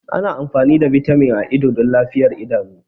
Ana amfani da Vitamin A don lafiyar idanu.